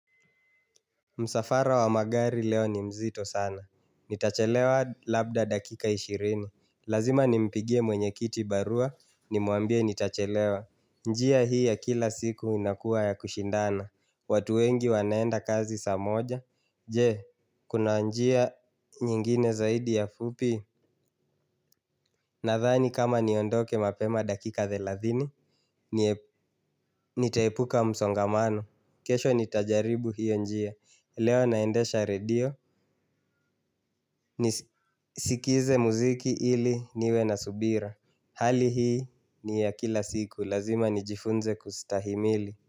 Msafara wa magari leo ni mzito sana. Nitachelewa labda dakika ishirini. Lazima nimpigie mwenyekiti barua, nimuambie nitachelewa. Njia hii ya kila siku inakua ya kushindana. Watu wengi wanaenda kazi saa moja. Je, kuna njia nyingine zaidi ya fupi. Nadhani kama niondoke mapema dakika thelathini. Nitaepuka msongamano. Kesho nitajaribu hiyo njia. Leo naendesha redio. Nisikize muziki ili niwe na subira. Hali hii ni ya kila siku. Lazima nijifunze kustahimili.